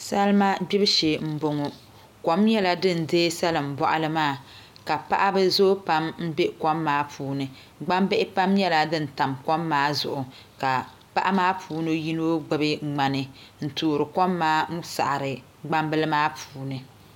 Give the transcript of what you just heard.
Salima gbibu shee n boŋo kom nyɛla din deei salin boɣali maa ka paɣaba zooi pam n bɛ kom maa puuni gbambihi pam nyɛla din tam kom maa zuɣu ka paɣa maa puuni yino gbubi ŋmani n toori kom maa n saɣari gbambili maa puuni